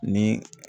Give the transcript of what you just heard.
Ni